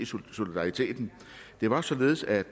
solidariteten det var således at